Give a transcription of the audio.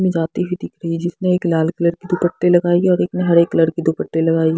में जाती हुई दिख रही जिसने एक लाल कलर की दुपट्टे लगाई और एक ने हरे कलर की दुपट्टे लगाई --